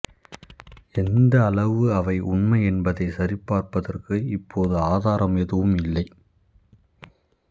எந்த அளவு அவை உண்மை என்பதைச் சரிபார்ப்பதற்கு இப்போது ஆதாரம் எதுவும் இல்லை